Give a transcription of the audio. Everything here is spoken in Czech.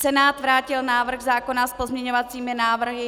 Senát vrátil návrh zákona s pozměňovacími návrhy.